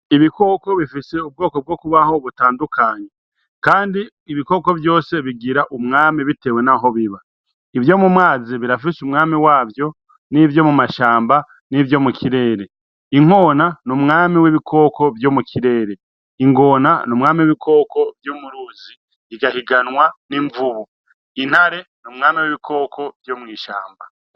Ibikoko bifise ubwoko bwo kubaho butandukanye. Kandi ibikoko vyose bigira umwami bitewe n'aho biba. Ivyo mu mazi birafise umwami wavyo, n'ivyo mumashamba, n'ivyo mukirere. Inkona n'umwami w'ibikoko vyo mukirere, ingona n'umwami w'ibikoko vyo mu ruzi bigahiganwa n'imvubu, intare n'umwami w'ibikoko vyo mw'ishamba.